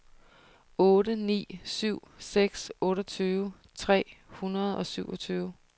otte ni syv seks otteogtyve tre hundrede og syvogtyve